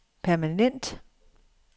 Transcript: permanent